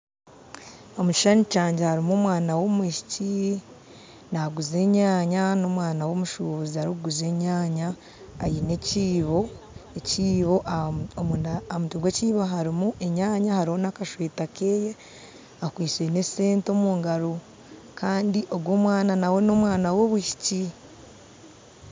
Omu kishushani kyangye harimu omwana w'omwishiki naaguza enyaanya n'omwana womushubuzi arikuguza enyaanya aine ekiibo ekiibo omunda aha mutwe gwa ekiibo harimu enyaanya hariho nakasweta keye akwitse n'esente omu ngaro kandi ogu omwana nauwe nomwana wobwishiki